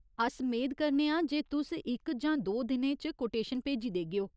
अस मेद करने आं जे तुस इक जां दो दिनें च कोटेशन भेजी देगेओ।